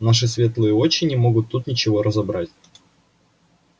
наши светлые очи не могут тут ничего разобрать